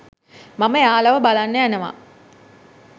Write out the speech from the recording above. මම එයාලව බලන්න යනවා.